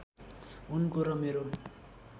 उनको र मेरो